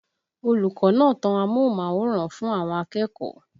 Olùkọ́ náà tan amóhùnmáwòrán fún àwọn akẹ́kọ̀ọ́